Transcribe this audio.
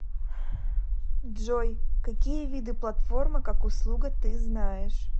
джой какие виды платформа как услуга ты знаешь